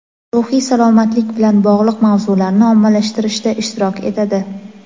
ruhiy salomatlik bilan bog‘liq mavzularni ommalashtirishda ishtirok etadi.